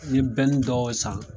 N ɲe dɔ san